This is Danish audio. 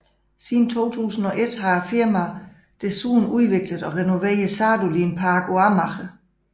Siden 2001 har firmaet desuden udviklet og renoveret Sadolin Parken på Amager